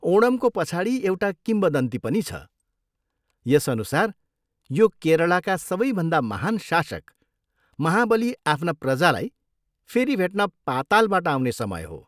ओणमको पछाडि एउटा किम्वदन्ती पनि छ, यसअनुसार यो केरलाका सबैभन्दा महान शासक महाबली आफ्ना प्रजालाई फेरि भेट्न पातालबाट आउने समय हो।